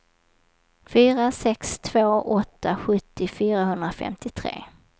fyra sex två åtta sjuttio fyrahundrafemtiotre